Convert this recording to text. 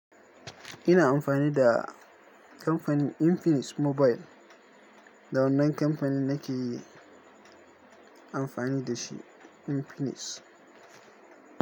Ina amfani da kamfanin Infinix Mobile. Da wannan kamfani nake yi amfani da shi, Infinix.